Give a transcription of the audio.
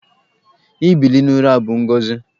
Ibili n'ụra bụ ngọzị.